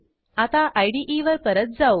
आता IDEवर परत जाऊ